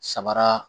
Samara